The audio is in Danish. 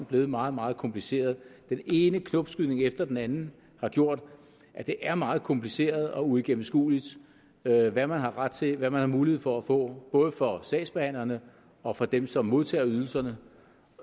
blevet meget meget kompliceret den ene knopskydning efter den anden har gjort at det er meget kompliceret og uigennemskueligt hvad man har ret til hvad man har mulighed for at få både for sagsbehandlerne og for dem som modtager ydelserne